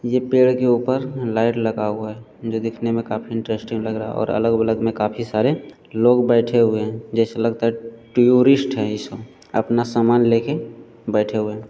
ये पेड़ के ऊपर लाइट लगा हुआ है जो दिखने में काफी इंट्रेस्टिंग लग रहा है और अलग-बलग में काफी सारे लोग बैठे हुए हैं जैसे लगता है टयोरिस्ट हैं ये सब अपना सामान लेके बैठे हुए हैं ।